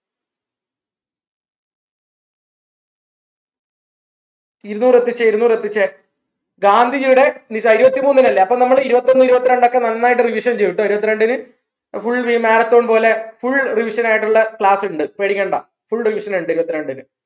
ഇരുന്നൂർ എത്തിച്ചേ ഇരുന്നൂർ എത്തിച്ചേ ഗാന്ധിജിയുടെ നീ ഇരുപ്പത്തിമൂന്നിനല്ലേ അപ്പോ നമ്മൾ ഇരുപത്തൊന്ന് ഇരുപത്രണ്ടോക്കെ നന്നായിട്ട് revision ചെയ്യും ട്ടോ ഇരുപത്രണ്ടിന്‌ full ഈ marathon പോലെ full revision ആയിട്ടുള്ള class ഉണ്ട് പേടിക്കണ്ട full revision ഉണ്ട് ഇരുപത്രണ്ടിന്‌